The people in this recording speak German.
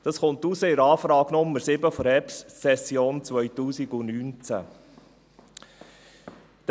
Dies ist der Anfrage Nr. 7 der Herbstsession 2019 zu entnehmen.